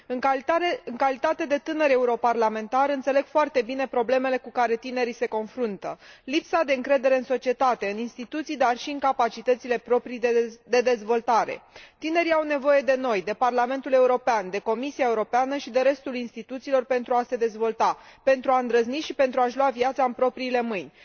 În calitate de tânăr europarlamentar înțeleg foarte bine problemele cu care tinerii se confruntă lipsa de încredere în societate, în instituții, dar și în capacitățile proprii de dezvoltare. Tinerii au nevoie de noi, de Parlamentul European, de Comisia Europeană și de restul instituțiilor pentru a se dezvolta, pentru a îndrăzni și pentru a și lua viața în propriile mâini.